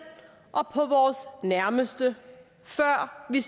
og på vores nærmeste før vi